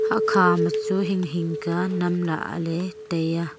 akha ma chu hing hing ka nemla le tai a.